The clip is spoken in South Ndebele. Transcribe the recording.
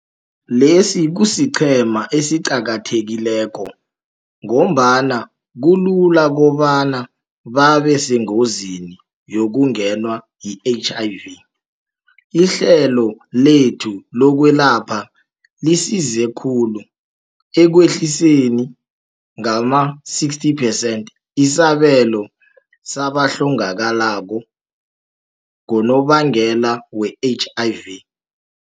Lesi kusiqhema esiqakathekileko ngombana kulula kobana babe sengozini yokungenwa yi-HIV. Ihlelo lethu lokwelapha lisize khulu ekwehliseni ngama-60 percent isibalo sabahlongakalako ngonobangela we-HIV.